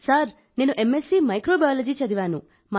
sir నేను MSc microbiology చదివాను